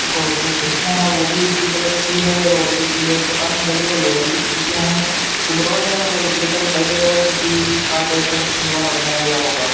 और जो खिड़कियां हैं वो भी उसी कलर की है और जोकि बेड के पास में लगी है लोहे की खिड़कियां हैं जो दरवाजा है वो लकड़ी का दिखाई दे रहा है जोकि कारपेंटर द्वारा बनाया गया होगा।